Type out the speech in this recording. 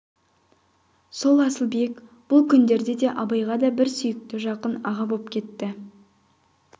сол асылбек бұл күндерде абайға аса бір сүйікті жақын аға боп кетті